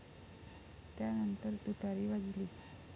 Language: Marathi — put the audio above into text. त्यानंतर तुतारी वाजली.